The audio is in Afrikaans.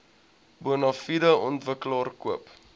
bonafide ontwikkelaar koop